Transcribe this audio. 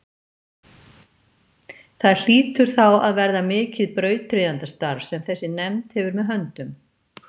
Það hlýtur þá að verða mikið brautryðjandastarf sem þessi nefnd hefur með höndum.